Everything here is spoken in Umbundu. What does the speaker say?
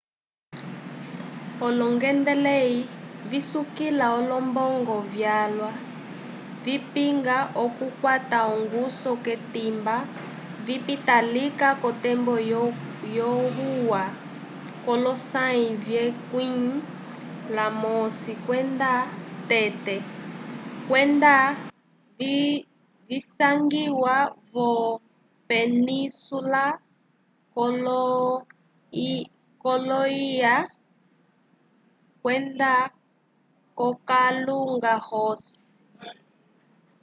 olongendaleyi visukila olombongo vyalwa vipinga okukwata ongusu k'etimba vipita lika k'otembo lyohuya k'olosãyi vyekwĩ lamosi kwenda tete kwenda visangiya vo-península kolo-ilya kwenda k'okalunga ross